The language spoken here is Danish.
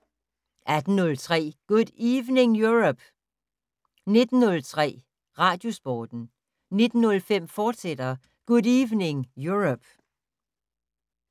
18:03: Good Evening Europe! 19:03: Radiosporten 19:05: Good Evening Europe!, fortsat